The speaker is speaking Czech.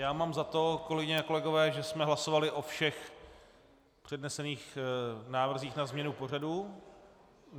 Já mám za to, kolegyně a kolegové, že jsme hlasovali o všech přednesených návrzích na změnu pořadu.